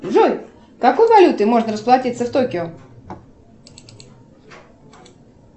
джой какой валютой можно расплатиться в токио